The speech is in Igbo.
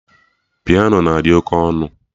Piano na-adị oké ọnụ